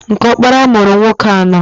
Nke ọkpara mụrụ ụmụnwoke anọọ.